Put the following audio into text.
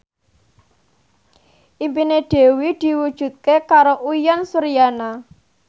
impine Dewi diwujudke karo Uyan Suryana